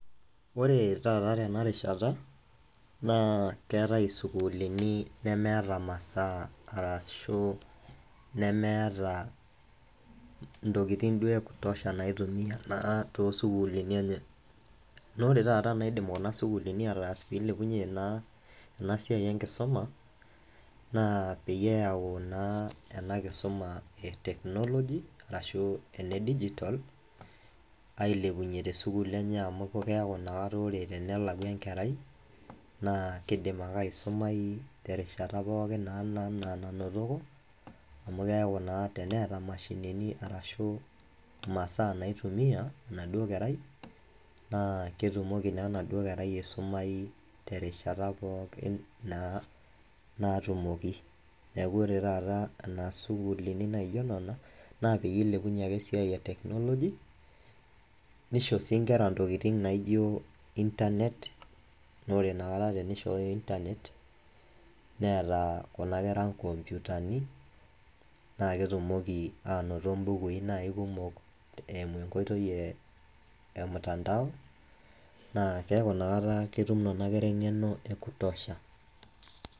Oree taata tenarishata naaa keatai sukuulini nemeta masaa, ashu nemeeta ntokitin duo ekutosha naitumiya naa too sukuluuni enye, naaku ore taata naidim kuna sukuluuni ataas peeilepunye naa ena siai enkisuma naa peyie eyau naa enkisuma e [s]technology arashu ene digitol ailepunye te sukuulini enye amu keaku ore inakata tenelau enkerai naa keidim ake aisumai te rishata pookin naa nanotoko amu keaku naa teneata mashinini arashuu masaa naitumiya enaduo kerai naa ketumoki naa enaduo kerai aisumaii te rishata pookin naa naatumoki, naaku ore taata ena suukulini naijo nena naa peilepunye ake esiai e technology, neisho sii inkera ntokitin naijo internet naa ore inakata teneishooyo internet neeta kuna kera nkomputani, naa ketumoki aanoto imbukui naa ekumok eimu inkoitei emitandao, naa kekau inakata ketum ena kerai eng'eno ekutosha.